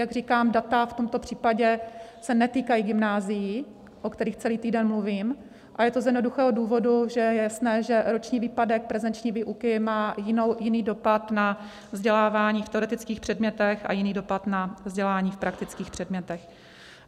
Jak říkám, data v tomto případě se netýkají gymnázií, o kterých celý týden mluvím, a je to z jednoduchého důvodu, že je jasné, že roční výpadek prezenční výuky má jiný dopad na vzdělávání v teoretických předmětech a jiný dopad na vzdělání v praktických předmětech.